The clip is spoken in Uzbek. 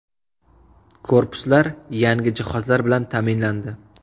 Korpuslar yangi jihozlar bilan ta’minlandi.